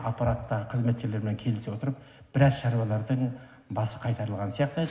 аппараттағы қызметкерлермен келісе отырып біраз шаруалардың басы қайтарылған сияқты енді